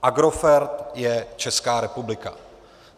Agrofert je Česká republika.